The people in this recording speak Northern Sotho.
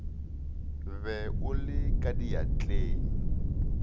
be o le ka diatleng